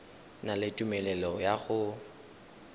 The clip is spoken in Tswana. na le tumelelo ya go